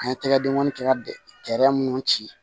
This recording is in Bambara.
An ye tɛgɛdenkɔni kɛ ka minnu ci